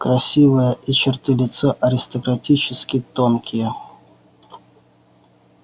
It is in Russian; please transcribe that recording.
красивая и черты лица аристократически тонкие